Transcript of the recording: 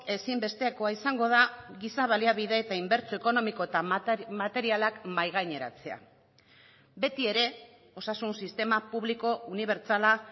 ezinbestekoa izango da giza baliabide eta inbertsio ekonomiko eta materialak mahai gaineratzea beti ere osasun sistema publiko unibertsala